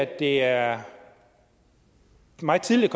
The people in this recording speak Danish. det er meget tidligt